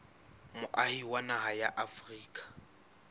moahi wa naha ya afrika